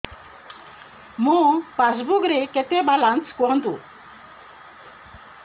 ମୋ ପାସବୁକ୍ ରେ କେତେ ବାଲାନ୍ସ କୁହନ୍ତୁ